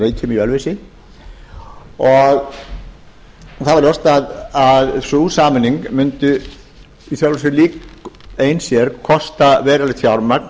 sameinast rannsóknastofnun landbúnaðarins og garðyrkjuskóla ríkisins að reykjum í ölfusi það var ljóst að sú sameining mundi í sjálfu sér ein sér kosta verulegt fjármagn